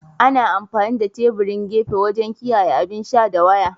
Ana amfani da teburin gefe wajen kiyaye abin sha da waya.